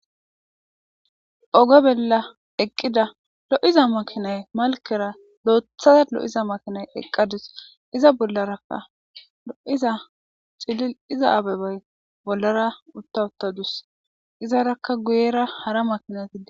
Oge bella eqqida lo7iza makinay malkera doothaza lo7iza makinay eqqadus iza bollarakka lo7iza xilil iza abebay bollara uttawuttadus izaraka guyera hara makinatidi.